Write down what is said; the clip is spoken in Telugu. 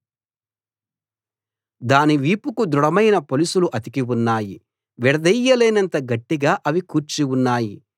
దాని వీపుకు దృఢమైన పొలుసులు అతికి ఉన్నాయి విడదీయలేనంత గట్టిగా అవి కూర్చి ఉన్నాయి